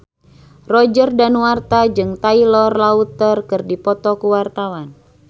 Roger Danuarta jeung Taylor Lautner keur dipoto ku wartawan